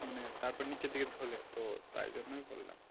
মানে তারপরে নিচের দিকে ঝোলে তো তাই জন্যেই বললাম।